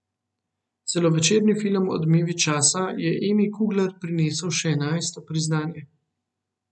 Celovečerni film Odmevi časa je Emi Kugler prinesel še enajsto priznanje.